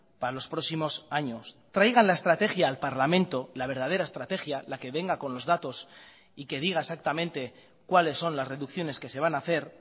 para los próximos años traigan la estrategia al parlamento la verdadera estrategia la que venga con los datos y que diga exactamente cuáles son las reducciones que se van a hacer